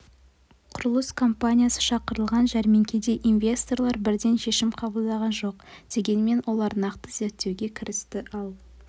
құрылыс компаниясы шақырылған жәрмеңкеде инвесторлар бірден шешім қабылдаған жоқ дегенмен олар нарықты зерттеуге кірісті ал